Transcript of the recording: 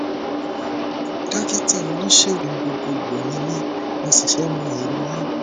dókítà oníṣègùn gbogbogbò ni mí mo sì fẹ mọ èrò yín